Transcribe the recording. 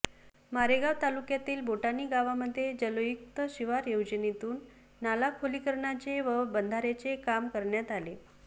मारेगाव तालुक्यातील बोटाेणी गावामध्ये जलयुक्त शिवार योजनेतून नाला खोलीकरणाचे व बंधाऱ्याचे काम करण्यात आले